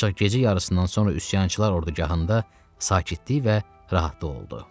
Ancaq gecə yarısından sonra üsyançılar ordugahında sakitlik və rahatlıq oldu.